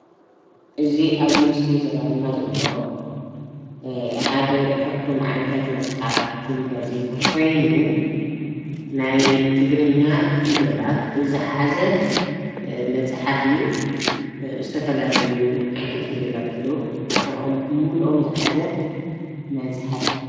እዚ ኣብዚ ምስሊ ዝረአየና ዘሎ ሓደ ካብቶም ዓይነታት መፅሓፍትን ጋዜጣን ኮይኑ ናይ ትግርኛ ፊደላት ዝሓዘ መፅሓፍ እዩ፡፡ ዝተፈላለዩ ዓይነታት ፊደላት ኣለው፡፡ ንዖም ብምሉኦም ዝሓዘ መፅሓፍ እዩ፡፡